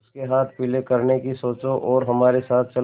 उसके हाथ पीले करने की सोचो और हमारे साथ चलो